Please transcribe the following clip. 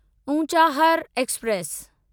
Unchahar express